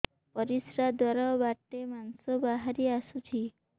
ପରିଶ୍ରା ଦ୍ୱାର ବାଟେ ମାଂସ ବାହାରି ଆସୁଛି